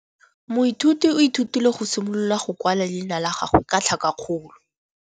Moithuti o ithutile go simolola go kwala leina la gagwe ka tlhakakgolo.